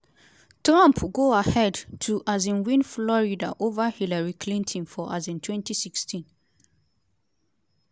trump go ahead to um win florida ova hillary clinton for um 2016.